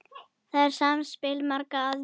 Þetta er samspil margra aðila.